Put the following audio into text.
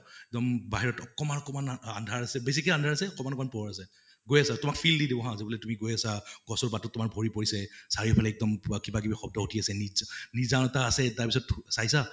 এক্দম বাহিৰত অকনমান অকনমান আন্ধাৰ আছে । বেছিকে আন্ধাৰ আছে, বেছিকে পোহৰ আছে । গৈ আছে, তোমাক feel দি দিব হা যে তুমি গৈ আছা, গছৰ পাতত তোমাৰ ভৰি পৰিছে । চাৰিওফালে এক্দম পুৰা কিবা কিবি শব্দ উঠি আছে নি নিজানতা আছে তাৰপিছত ধু চাইছা ?